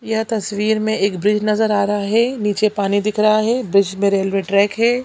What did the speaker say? यह तस्वीर में एक ब्रिज नजर आ रहा है नीचे पानी दिख रहा है ब्रिज में रेलवे ट्रैक है।